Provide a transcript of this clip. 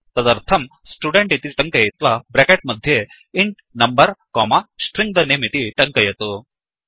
तदर्थं स्टुडेन्ट् इति टङ्कयित्वा ब्रेकेट् मध्ये int number comma string the name इति टङ्कयतु